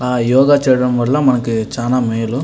యోగ చేయడం వల్ల మనకి చాలా మేలు.